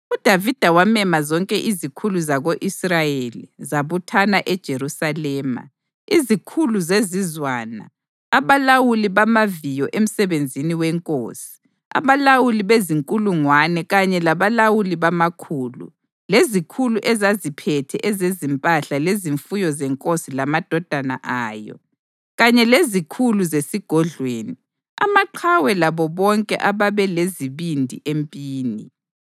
UDavida wamema zonke izikhulu zako-Israyeli zabuthana eJerusalema: izikhulu zezizwana, abalawuli bamaviyo emsebenzini wenkosi, abalawuli bezinkulungwane kanye labalawuli bamakhulu, lezikhulu ezaziphethe ezezimpahla lezifuyo zenkosi lamadodana ayo, kanye lezikhulu zesigodlweni, amaqhawe labo bonke ababelezibindi empini.